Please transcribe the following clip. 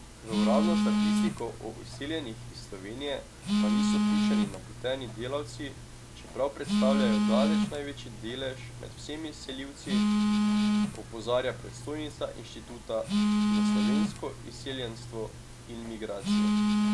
V uradno statistiko o izseljenih iz Slovenije pa niso vključeni napoteni delavci, čeprav predstavljajo daleč največji delež med vsemi selivci, opozarja predstojnica Inštituta za slovensko izseljenstvo in migracije.